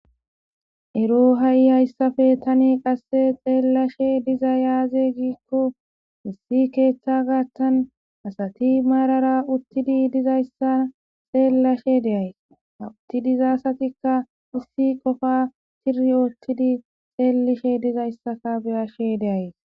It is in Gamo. Ero ha7i hayssafe tani qasse xeellashe diza yaaze giikko issi keeththa gaattan asati maarara uttidi dizayssa xeellashe deays hawuttidizasatikka ussi qofa tiri oottidi xeellishe dizayssaka beyashe deays.